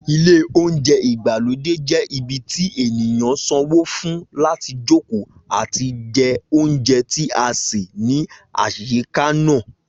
Ilé oúnjẹ ìgbàlódé je ibi tí ènìyàn sanwó fún láti jókòó àti jẹ oúnjẹ tí a sè ní àyíká náà